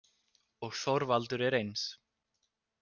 Og Þorvaldur er eins.